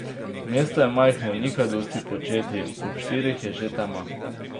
Mesto je majhno, ni kaj dosti početi, ob štirih je že tema.